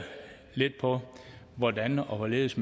lidt på hvordan og hvorledes